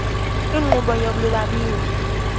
nkqubo yolu lwabiwo